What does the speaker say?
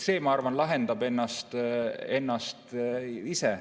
See, ma arvan, lahendab ennast ise.